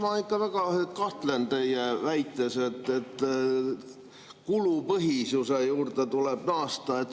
Ma ikka väga kahtlen teie väites, et kulupõhisuse juurde tuleb naasta.